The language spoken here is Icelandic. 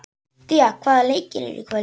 Día, hvaða leikir eru í kvöld?